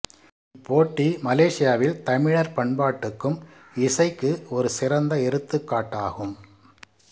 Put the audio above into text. இப் போட்டி மலேசியாவில் தமிழர் பண்பாட்டுக்கும் இசைக்கு ஒரு சிறந்த எடுத்துக்காட்டாகும்